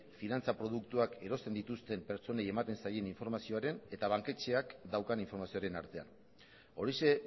finantza produktuak erosten dituzten pertsonen ematen zaien informazioaren eta banketxeak daukan informazioaren artean horixe